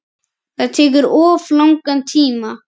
Það tekur of langan tíma.